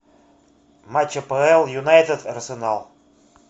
матч апл юнайтед арсенал